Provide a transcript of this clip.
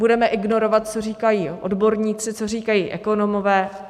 Budeme ignorovat, co říkají odborníci, co říkají ekonomové.